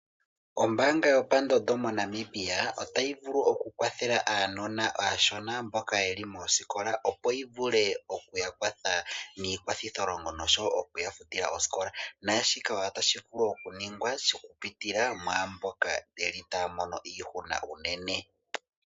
Ombaanga yopandondo moNamibia otayi vulu okukwathela aanona aashona mboka yeli moosikola opo yi vule okuya kwatha niikwathitholongo nosho wo okuya futila oosikola. Naashika otashi vulu okuningwa okupitila mwa mboka taya mono iihuna unene.